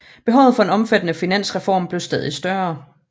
Behovet for en omfattende finansreform blev stadig større